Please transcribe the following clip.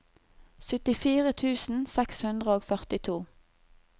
syttifire tusen seks hundre og førtito